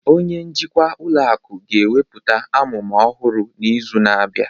Onye njikwa ụlọ akụ ga-ekwupụta amụma ọhụrụ n'izu na-abịa